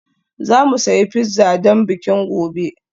Za mu sayi pizza don bikin gobe